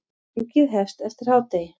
Þingið hefst eftir hádegi.